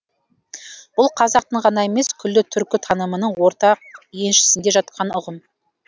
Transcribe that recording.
бұл қазақтың ғана емес күллі түркі танымының ортақ еншісінде жатқан ұғым